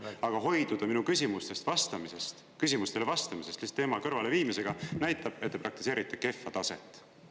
Aga hoiduda minu küsimustele vastamisest lihtsalt teema kõrvale viimisega näitab, et te praktiseerite kehva taset.